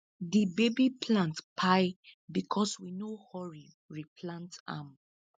di baby plant pai becos we no hurry replant am